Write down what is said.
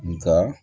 Nga